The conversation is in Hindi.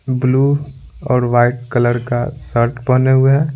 ब्लू और वाइट कलर का शर्ट पहने हुए है।